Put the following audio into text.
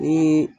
Ni